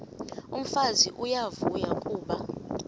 umfazi uyavuya kuba